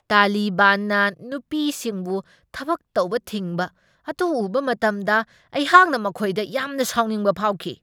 ꯇꯥꯂꯤꯕꯥꯟꯅ ꯅꯨꯄꯤꯁꯤꯡꯕꯨ ꯊꯕꯛ ꯇꯧꯕ ꯊꯤꯡꯕ ꯑꯗꯨ ꯎꯕ ꯃꯇꯝꯗ, ꯑꯩꯍꯥꯛꯅ ꯃꯈꯣꯏꯗ ꯌꯥꯝꯅ ꯁꯥꯎꯅꯤꯡꯕ ꯐꯥꯎꯈꯤ ꯫